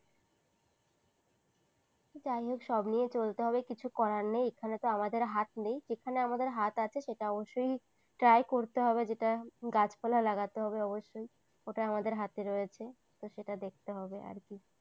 যাইহোক সব নিয়ে চলতে হবে কিছু করার নেই এখানে তো আমাদের হাত নেই যেখানে আমাদের হাত আছে সেটা অবশ্যই try করতে হবে যেটা গাছপালা লাগাতে হবে অবশ্যই ওটা আমাদের হাতে রয়েছে তো সেটা দেখতে হবে আর কি।